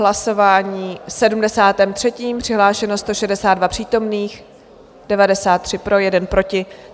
Hlasování číslo 73, přihlášeno 162 přítomných, 93 pro, 1 proti.